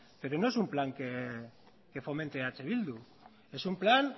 pero no es un plan que fomente eh bildu es un plan